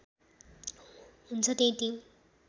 हुन्छ त्यही टिम